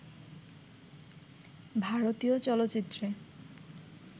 ভারতীয় চলচ্চিত্রে